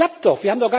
Es klappt doch!